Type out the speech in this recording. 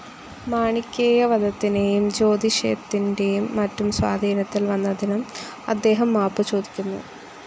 മാണിക്കേയ വധത്തിനെയും ജ്യോതിഷത്തിൻ്റെയും മറ്റും സ്വാധീനത്തിൽ വന്നതിനും അദ്ദേഹം മാപ്പു ചോദിക്കുന്നുണ്ട്.